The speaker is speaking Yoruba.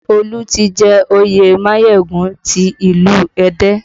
Olu tí jẹ òye Mayegun ti ilu Ẹdẹ